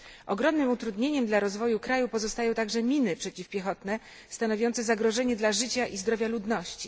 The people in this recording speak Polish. Ogromnym utrudnieniem dla rozwoju kraju pozostają także miny przeciwpiechotne stanowiące zagrożenie dla życia i zdrowia ludności.